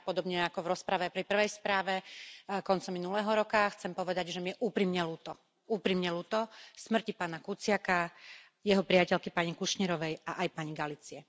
A ja, podobne ako v rozprave pri prvej správe koncom minulého roka, chcem povedať, že mi je úprimne ľúto smrti pána Kuciaka, jeho priateľky pani Kušnírovej, a aj pani Galicie.